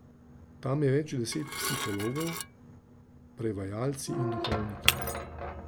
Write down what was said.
Tam je več deset psihologov, prevajalci in duhovniki.